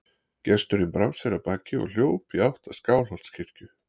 Gesturinn brá sér af baki og hljóp í áttina að Skálholtskirkju.